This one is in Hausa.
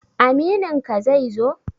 Amininka zai zo?